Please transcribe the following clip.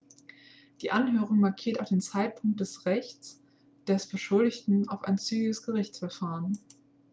die anhörung markiert auch den zeitpunkt des rechts des beschuldigten auf ein zügiges gerichtsverfahren